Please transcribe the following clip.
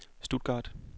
Stuttgart